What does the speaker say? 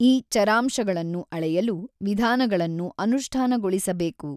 ಈ ಚರಾಂಶಗಳನ್ನು ಅಳೆಯಲು ವಿಧಾನಗಳನ್ನು ಅನುಷ್ಠಾನಗೊಳಿಸ ಬೇಕು.